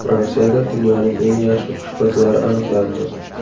Fransiyada dunyoning eng yaxshi oshpazlari aniqlandi.